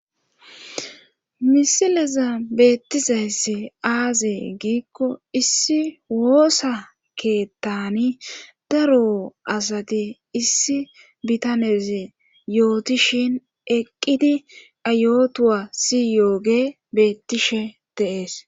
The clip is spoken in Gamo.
misileza beettizayssi aazee giikko issi woosa keettani daro asati issi bitanez yootishin eqqidi a yotuwa siyoogey beettishe de'ees